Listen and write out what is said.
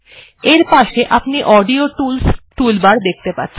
এর পাশে আপনি অডিও টুলস টুলবার দেখতে পাচ্ছেন